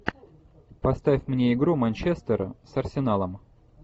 поставь мне игру манчестера с арсеналом